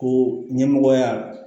Ko ɲɛmɔgɔya